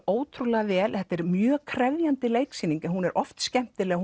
ótrúlega vel þetta er mjög krefjandi leiksýning hún er oft skemmtileg